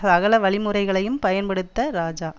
சகல வழிமுறைகளையும் பயன்படுத்த இராஜா